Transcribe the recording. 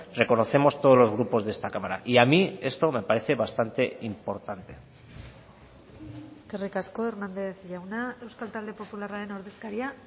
reconocemos todos los grupos de esta cámara y a mí esto me parece bastante importante eskerrik asko hernández jauna euskal talde popularraren ordezkaria